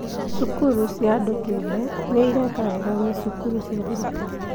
Cukuru cia andũ kĩũmbe nĩ ireka wega kwĩ cukuru cia thirikari